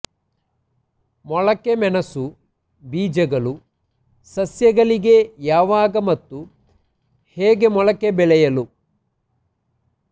ಮೊಳಕೆ ಮೆಣಸು ಬೀಜಗಳು ಸಸ್ಯಗಳಿಗೆ ಯಾವಾಗ ಮತ್ತು ಹೇಗೆ ಮೊಳಕೆ ಬೆಳೆಯಲು